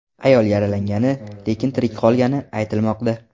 Ayol yaralangani, lekin tirik qolgani aytilmoqda.